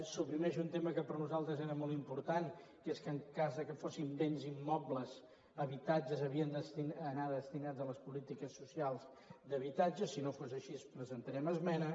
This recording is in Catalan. suprimeix un tema que per nosaltres era molt important que és que en cas que fossin béns immobles habitatges havien d’anar destinats a les polítiques socials d’habitatge si no fos així presentarem esmena